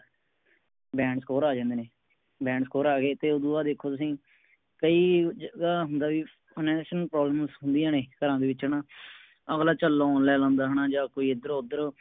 Band score ਆ ਜਾਂਦੇ ਨੇ Band score ਆ ਗਏ ਤੇ ਉਦੋ ਬਾਦ ਦੇਖੋ ਤੁਸੀਂ ਕਈ ਜਗ੍ਹਾ ਹੁੰਦਾ ਵੀ Financial problems ਹੁੰਦੀਆਂ ਨੇ ਘਰਾਂ ਦੇ ਵਿਚ ਹਣਾ ਅਗਲਾ ਚਲ loan ਲੈ ਲੈਂਦਾ ਹੈ ਨਾ ਜਾ ਕੋਈ ਏਧਰ ਓਧਰ